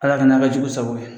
Ala ka na kɛ jugu sago ye